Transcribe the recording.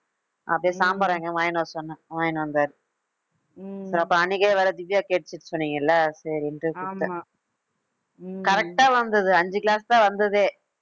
அப்படியே சாம்பார் வாங்கிட்டு வர சொன்னேன் வாங்கிட்டு வந்தாரு அப்போ அன்னைக்கே வேற திவ்யா கேட்டுச்சுன்னு சொன்னீங்கல்ல சரின்னுட்டு கொடுத்தேன் correct ஆ வந்தது, அஞ்சு glass தான் வந்துதே